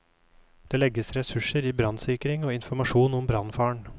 Det legges ressurser i brannsikring og informasjon om brannfaren.